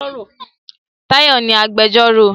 Táyọ̀ ni agbẹjọ́rò.